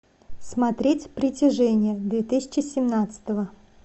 смотреть притяжение две тысячи семнадцатого